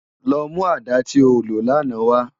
Lò mú àdá ti ó ló làná wâ